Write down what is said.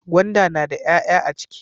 Gwanda na da 'ya'ya a ciki